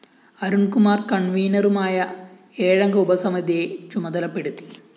അരുണ്‍ കുമാര്‍ കണ്‍വീനറുമായ ഏഴംഗ ഉപസമിതിയെ ചുമതലപ്പെടുത്തി